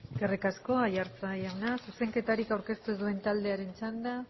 eskerrik asko aiartza jauna zuzenketarik aurkeztu ez duen taldeen txanda